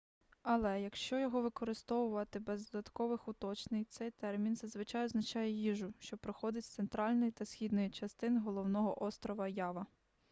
але якщо його використовувати без додаткових уточнень цей термін зазвичай означає їжу що походить з центральної та східної частин головного острова ява